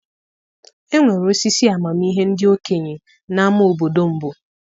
Enwere osisi amamihe ndị okenye n'ámá obodo mbụ.